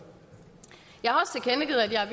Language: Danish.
jeg har